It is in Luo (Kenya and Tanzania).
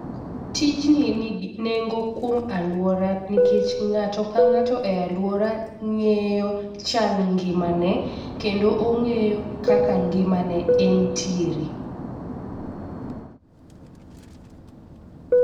Tijni nigi nengo kuom aluora nikech ng'ato ka ng'ato e luora ng'eyo chal ngima ne kendo ong'eyo kaka ngima ne entiere.